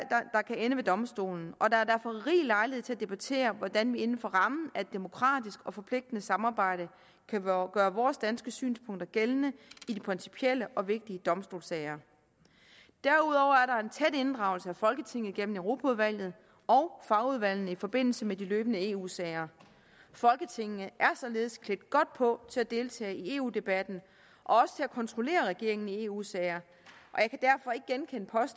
kan ende ved domstolen og der er derfor rig lejlighed til at debattere hvordan vi inden for rammen af et demokratisk og forpligtende samarbejde kan gøre vores danske synspunkter gældende i de principielle og vigtige domstolssager derudover er der en tæt inddragelse af folketinget igennem europaudvalget og fagudvalgene i forbindelse med de løbende eu sager folketinget er således klædt godt på til at deltage i eu debatten og også til at kontrollere regeringen i eu sager